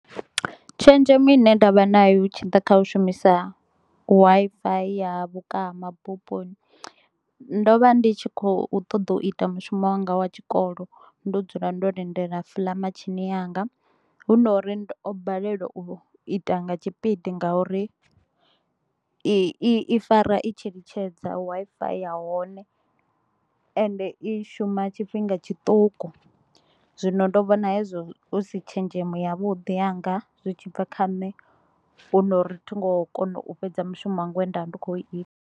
Tshenzhemo ine nda vha na yo hu tshi ḓa kha u shumisa Wi-Fi ya vhukavha mabufhoni, ndo vha ndi tshi kho u ṱoḓa u ita mushumo wanga wa tshikolo, ndo dzula ndo lindela fly machine yanga. Hu no u ri ndo o baleliwa u ita nga tshipidi nga uri i i fara i tshi litshedza Wi-Fi ya hone ende i shuma tshifhinga tshiṱuku, zwino ndo vhona hezwo hu si tshenzhemo ya vhuḓi yanga zwi tshi bva kha nne, hu no uri thi ngo kona u fhedza mushumo wanga we nda vha ndi kho u ita.